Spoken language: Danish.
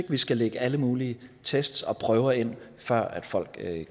vi skal lægge alle mulige test og prøver ind før folk